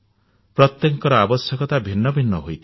ପ୍ରତ୍ୟେକଙ୍କର ଆବଶ୍ୟକତା ଭିନ୍ନ ଭିନ୍ନ ହୋଇଥିବ